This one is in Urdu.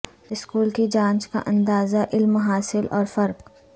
سکول کی جانچ کا اندازہ علم حاصل اور فرق